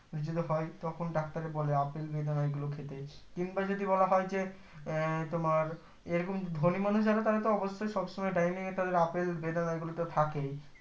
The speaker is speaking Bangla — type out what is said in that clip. `যেতে হয় তখন ডাক্তারে বলে যে আপেল বেদনা এগুলো খেতে কিংবা যদি বলা হয় যে আহ তোমার এই রকম ধোনি, মানুষ যারা তারা তো অবশই সবসময় draining এ আপেল বেদনাএগুলো তো থাকেই